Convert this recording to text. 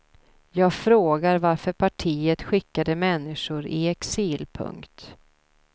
Jag frågar varför partiet skickade människor i exil. punkt